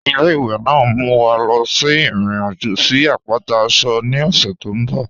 Ile-iwe naa n mú wa lọ sí irin-ajo sí apátà Aso ni ọṣẹ tó nbọ̀.